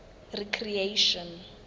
recreation